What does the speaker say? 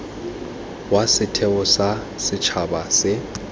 wa setheo sa setšhaba se